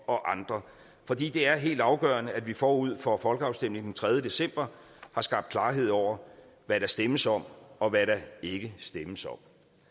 og andre for det det er helt afgørende at vi forud for folkeafstemningen den tredje december har skabt klarhed over hvad der stemmes om og hvad der ikke stemmes om